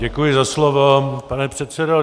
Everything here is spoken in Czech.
Děkuji za slovo, pane předsedo.